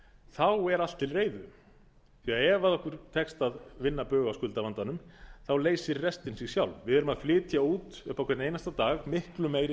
þá er allt til reiðu því ef okkur tekst að vinna bug á skuldavandanum leysir restin sig sjálf við erum að flytja út upp á hvern einasta dag miklu meiri